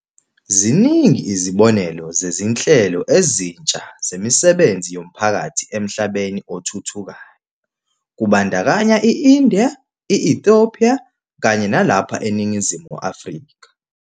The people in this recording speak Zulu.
Ziningi izibonelo zezi nhlelo ezintsha zemisebenzi yomphakathi emhlabeni othuthukayo, kubandakanya i-India, i-Ethopia kanye nalapha eNingizimu Afrika.